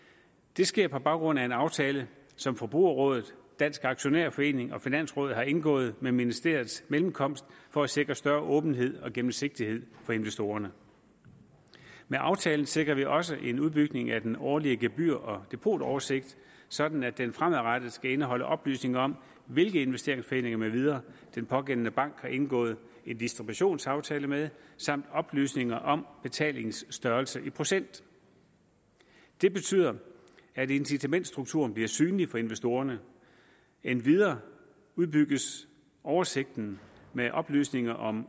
det sker på baggrund af en aftale som forbrugerrådet dansk aktionærforening og finansrådet har indgået ved ministeriets mellemkomst for at sikre større åbenhed og gennemsigtighed for investorerne med aftalen sikrer vi også en udbygning af den årlige gebyr og depotoversigt sådan at den fremadrettet skal indeholde oplysninger om hvilke investeringsforeninger med videre den pågældende bank har indgået en distributionsaftale med samt oplysninger om betalingsstørrelse i procent det betyder at incitamentsstrukturen bliver synlig for investorerne endvidere udbygges oversigten med oplysninger om